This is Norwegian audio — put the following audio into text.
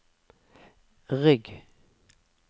rygg